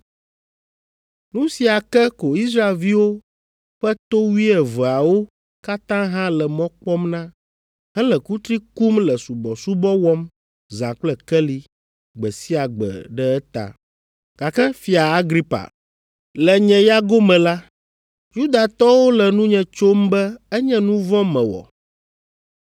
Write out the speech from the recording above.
Nu sia ke ko Israelviwo ƒe to wuieveawo katã hã le mɔ kpɔm na, hele kutri kum le subɔsubɔ wɔm zã kple keli gbe sia gbe ɖe eta. Gake Fia Agripa, le nye ya gome la, Yudatɔwo le nunye tsom be enye nu vɔ̃ mewɔ.